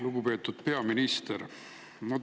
Lugupeetud peaminister!